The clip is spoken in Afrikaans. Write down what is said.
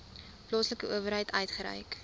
plaaslike owerheid uitgereik